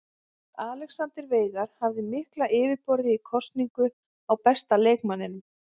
Alexander Veigar hafði mikla yfirburði í kosningu á besta leikmanninum.